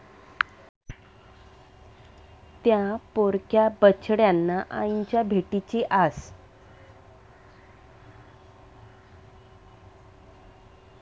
त्या' पोरक्या बछड्यांना आईच्या भेटीची आस